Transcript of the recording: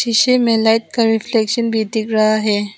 शीशे में लाइट का रिफ्लेक्शन भी दिख रहा है।